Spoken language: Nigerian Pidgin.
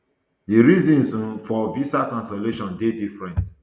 di reasons um for visa cancellation dey different